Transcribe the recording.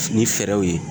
Fini fɛrɛw ye